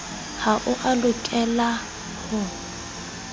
ha o a lokela ho